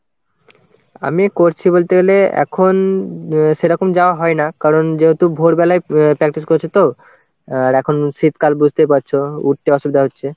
আমি করছি বলতে গেলে এখন সেরকম যাওয়া হয় না কারণ যেহেতু ভোরবেলায় অ্যাঁ practice করছে তো আর এখন শীতকাল বুঝতেই পারছো উঠতে অসুবিধা হচ্ছে.